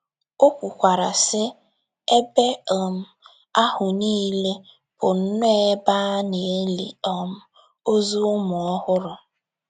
O kwukwara, sị: “ Ebe um ahụ niile bụ nnọọ ebe a na - eli um ozu ụmụ ọhụrụ....